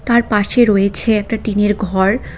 তার পাশে রয়েছে একটা টিনের ঘর।